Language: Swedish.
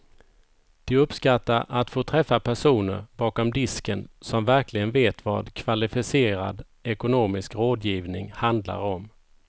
De uppskattar att få träffa personer bakom disken som verkligen vet vad kvalificerad ekonomisk rådgivning handlar om.